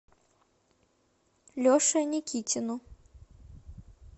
леше никитину